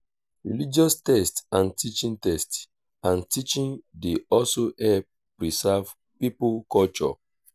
religious text and teaching text and teaching dey also help preserve pipo culture